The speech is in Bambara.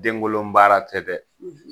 Denkolon baara tɛ dɛ